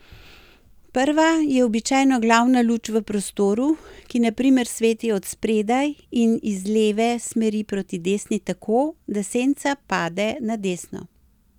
Prva je običajno glavna luč v prostoru, ki na primer sveti od spredaj in iz leve smeri proti desni tako, da senca pade na desno.